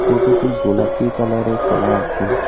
টোটোটি গোলাপী কালারের করা আছে।